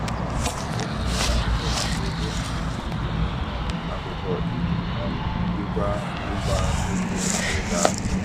Ọ tinyere akwụkwọ maka ego um mbinye um akwụkwọ iji um jikwaa mmụba ego mberede ahụ.